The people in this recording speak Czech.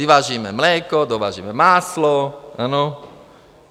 Vyvážíme mléko, dovážíme máslo, ano?